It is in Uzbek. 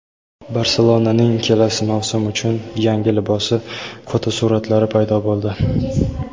"Barselona"ning kelasi mavsum uchun yangi libosi fotosuratlari paydo bo‘ldi.